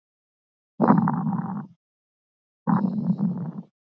Lambert, hvernig er veðrið úti?